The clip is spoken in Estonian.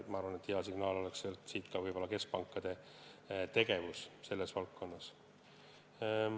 Ma arvan, et hea signaal oleks ka keskpankade tegevus selles valdkonnas.